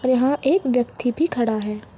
और यहाँ एक व्यक्ति भी खड़ा है।